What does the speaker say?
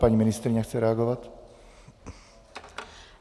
Paní ministryně chce reagovat.